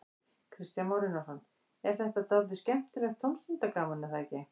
Kristján Már Unnarsson: En þetta er dálítið skemmtilegt tómstundagaman, er það ekki?